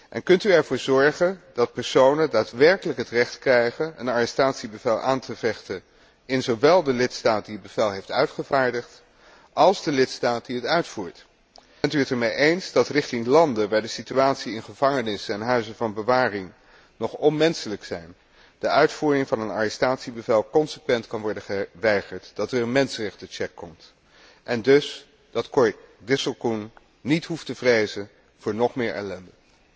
En kunt u ervoor zorgen dat personen daadwerkelijk het recht krijgen een arrestatiebevel aan te vechten in zowel de lidstaat die het bevel heeft uitgevaardigd als de lidstaat die het uitvoert? Bent u het ermee eens dat aan landen waar de situatie in gevangenissen en huizen van bewaring nog onmenselijk is, de uitvoering van een arrestatiebevel consequent kan worden geweigerd, dat er een mensenrechtentoetsing komt en dat Cor Disselkoen niet hoeft te vrezen voor nog meer ellende?